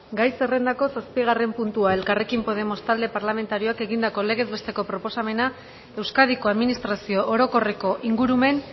gai zerrendako zazpigarren puntua elkarrekin podemos talde parlamentarioak egindako legez besteko proposamena euskadiko administrazio orokorreko ingurumen